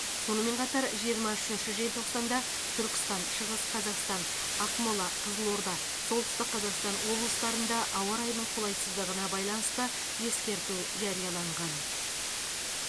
сонымен қатар жиырма үшінші желтоқсанда түркістан шығыс қазақстан ақмола қызылорда солтүстік қазақстан облыстарында ауа райының қолайсыздығына байланысты ескерту жарияланған